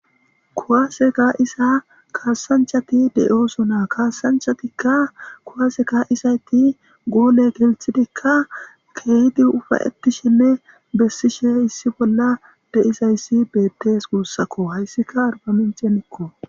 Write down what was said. Kuwaase kaa7isiza kaassanchchathi de7oosona; kaassanchchathikka kuwaase kaa7izaythi goole denththidikka keehipe ufayththishenne bessishe issi bolla de7izayssi beeththees guusakoo; hayssika arbaminccenakko.